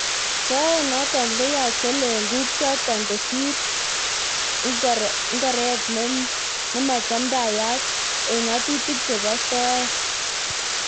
Soet notok konyache lenguk chotok kosir ik ngoret nimachamdayat ik nga'atutik chebo soet.